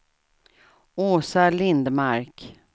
Åsa Lindmark